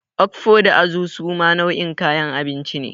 Okfo da Azu suma nau'in kayan abinci ne.